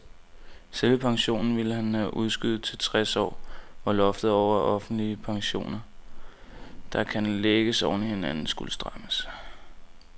Selve pensionen ville han udskyde til tres år, hvor loftet over offentlige pensioner, der kan lægges oven i hinanden, skulle strammes.